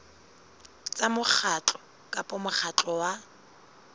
tsa mokgatlo kapa mokgatlo wa